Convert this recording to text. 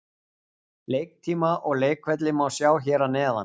Leiktíma og leikvelli má sjá hér að neðan.